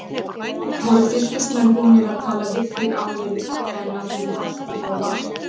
Voru Fylkismenn búnir að tala við þig áður en að þú hættir hjá Val?